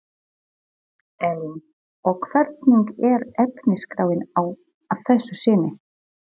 Elín: Og hvernig er efnisskráin að þessu sinni?